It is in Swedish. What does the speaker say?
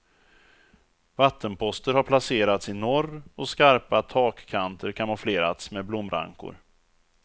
Vattenposter har placerats i norr och skarpa takkanter kamouflerats med blomrankor.